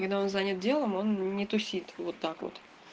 когда он занят делом он не тусит вот так вот